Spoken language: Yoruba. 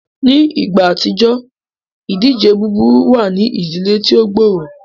Ni igba atijọ, idije buburu wa ni idile ti o gbooro.